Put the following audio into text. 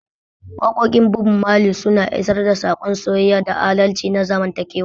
Waƙoƙin Bob Mali suna isar da saƙon soyayya da adalci na zamantakewa.